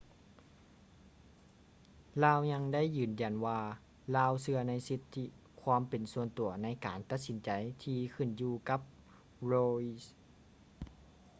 ລາວຍັງໄດ້ຢືນຢັນວ່າລາວເຊື່ອໃນສິດທິຄວາມເປັນສ່ວນຕົວໃນການຕັດສິນໃຈທີ່ຂຶ້ນຢູ່ກັບ roe